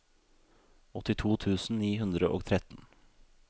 åttito tusen ni hundre og tretten